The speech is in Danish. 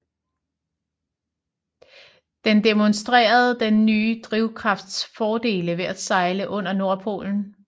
Den demonstrerede den nye drivkrafts fordele ved at sejle under Nordpolen